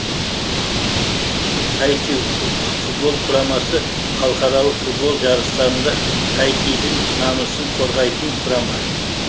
таитю ұлттық футбол құрамасы халықаралық футбол жарыстарында таитидің намысын қорғайтын құрама